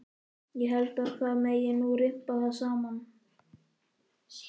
Ég held að það megi nú rimpa það saman.